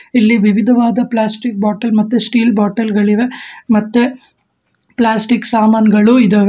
ಇಲ್ಲಿ ವಿವಿಧವಾದ plastic bottle ಮತ್ತು ಸ್ಟೀಲ್ ಬಾಟಲ್ ಗಳಿವೆ ಮತ್ತೆ ಪ್ಲಾಸ್ಟಿಕ್ ಸಾಮಾನ್ ಗಳು ಇದವೆ.